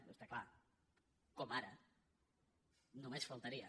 bé està clar com ara només faltaria